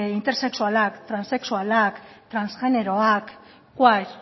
intersexualak transexualak transgeneroak queer